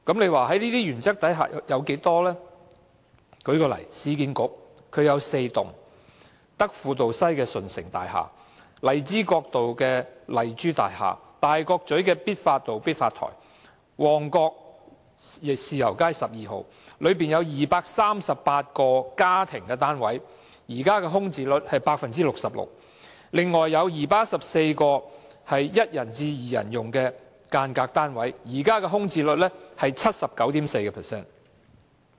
讓我舉出一些例子，市區重建局有4幢這類建築物，包括德輔道西的順成大廈、荔枝角道的麗珠大廈、大角咀必發道的必發臺及旺角豉油街12號，當中有238個家庭單位，現時的空置率是 66%， 另有214個是1人至2人用的間隔單位，現時的空置率是 79.4%。